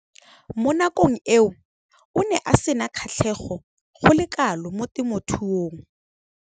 Mo nakong eo o ne a sena kgatlhego go le kalo mo temothuong.